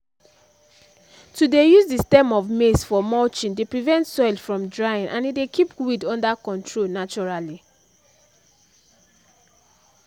to dey use the stem of maize for mulching dey prevent soil from drying and e dey keep weed under control naturally